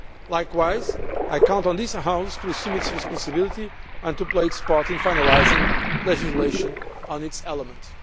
Likewise, I count on this House to assume its responsibility and play its part in finalising legislation on its elements.